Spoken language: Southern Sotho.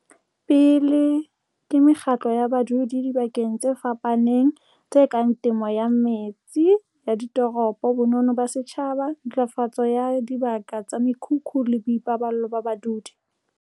pele ke mekgatlo ya badudi dibakeng tse fapafapaneng tse kang temo ya metse ya ditoropo, bonono ba setjhaba, ntlafatso ya dibaka tsa mekhukhu le boipaballo ba badudi.